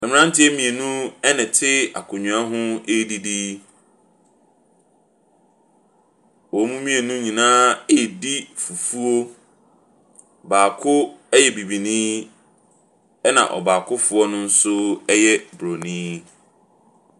Mmranteɛ mmienu ɛnate akonnwa ho ɛredidi yi. Wɔn mmienu nyinaa redi fufuo. Baako ɛyɛ bibinii, ɛna ɔbaakofoɔ ɛnso ɛyɛ obronii.